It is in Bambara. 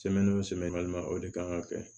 o de kan ka kɛ